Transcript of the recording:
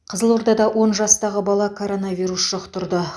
қызылордада он жастағы бала коронавирус жұқтырды